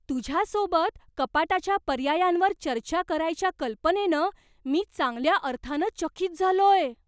तुझ्यासोबत कपाटाच्या पर्यायांवर चर्चा करायच्या कल्पनेनं मी चांगल्या अर्थानं चकित झालोय.